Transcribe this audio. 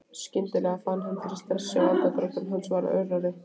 Skyndilega fann hann fyrir stressi og andardráttur hans varð örari.